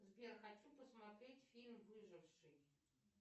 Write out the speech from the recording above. сбер хочу посмотреть фильм выживший